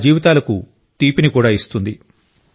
వారి జీవితాలకు తీపిని కూడా ఇస్తుంది